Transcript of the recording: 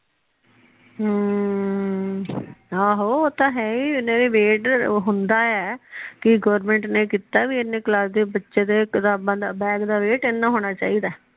ਹਮ ਆਹੋ ਉਹ ਤਾ ਹੈ ਨਾਲੇ ਵੈਟ ਹੁੰਦਾ ਏ ਕਿ ਗੋਵਰਨਮੈਂਟ ਨੇ ਕੀਤਾ ਕੇ ਇੰਨੀ ਕਲਾਸ ਦੇ ਬੱਚੇ ਦੇ ਕਿਤਾਬਾਂ ਦਾ ਬੈੱਗ ਦਾ ਵੈਟ ਏਨਾ ਹੋਣਾ ਚਾਹੀਦਾ ਏ।